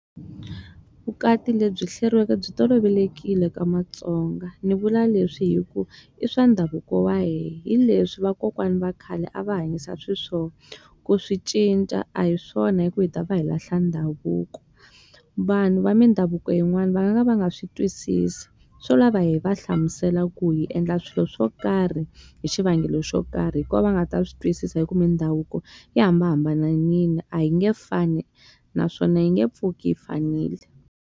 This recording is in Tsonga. Vukati lebyi hleriweke byi tolovelekile ka matsonga. Ni vula leswi hi ku i swa ndhavuko wa hina. Hi leswi vakokwana va khale a va hanyisa xiswona. Ku swi cinca a hi swona hikuva hi ta va hi lahla ndhavuko. Vanhu va mindhavuko yin'wani va nga va nga swi twisisi. Swo lava hi va hlamusela ku hi endla swilo swo karhi hi xivangelo xo karhi, hi kona va nga ta swi twisisa. Hikuva mindhavuko yi hambanahambanile. A yi nge fani naswona yi nge pfuki yi fanile.